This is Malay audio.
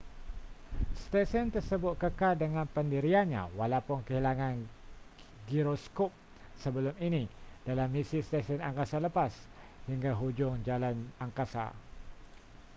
stesen tersebut kekal dengan pendiriannya walaupun kehilangan giroskop sebelum ini dalam misi stesen angkasa lepas hingga hujung jalan angkasa